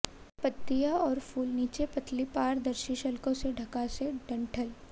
पत्तियां और फूल नीचे पतली पारदर्शी शल्कों से ढका से डंठल